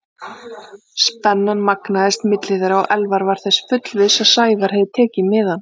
Spennan magnaðist milli þeirra og Elvar var þess fullviss að Sævar hefði tekið miðann.